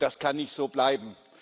Das kann nicht so bleiben.